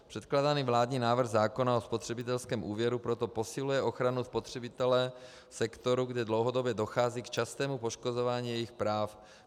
Předkládaný vládní návrh zákona o spotřebitelském úvěru proto posiluje ochranu spotřebitele, sektoru, kde dlouhodobě dochází k častému poškozování jejich práv.